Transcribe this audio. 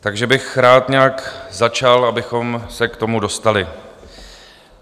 Takže bych rád nějak začal, abychom se k tomu dostali.